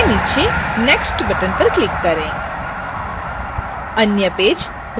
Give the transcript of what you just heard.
page के नीचे next button पर click करें